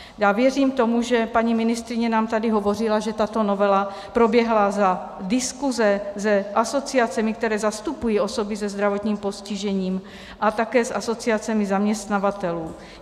Já věřím tomu, že paní ministryně nám tady hovořila, že tato novela proběhla za diskuse s asociacemi, které zastupují osoby se zdravotním postižením a také s asociacemi zaměstnavatelů.